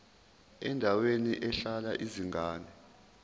endaweni ehlala izingane